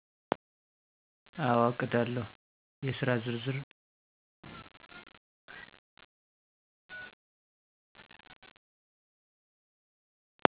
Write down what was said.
አወ እቀዳለሁ የስራ ዝርዝር